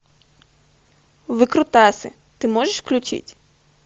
выкрутасы ты можешь включить